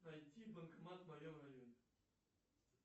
найти банкомат в моем районе